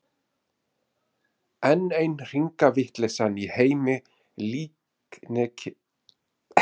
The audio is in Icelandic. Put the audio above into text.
Enn ein hringavitleysan í heimi líkneskisins.